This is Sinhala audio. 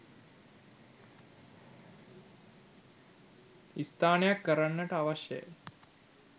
ස්ථානයක් කරන්නට අවශ්‍ය ය.